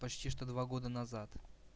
почти что два года назад